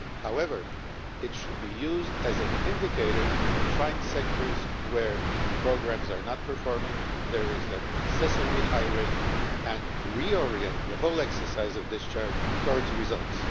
However, it should be used as an indicator to find sectors where programmes are not performing and there is an excessively high rate, and to reorientate the whole exercise of discharge towards results.